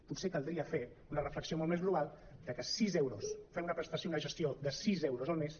potser caldria fer una reflexió molt més global de que sis euros fer una prestació una ges·tió de sis euros al mes